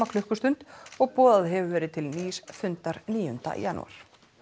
klukkustund og boðað hefur verið til nýs fundar níunda janúar